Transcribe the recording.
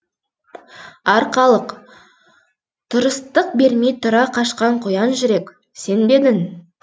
арқалық тұрыстық бермей тұра қашқан қоян жүрек сен бе едің